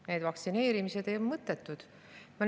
Need vaktsineerimised on mõttetud.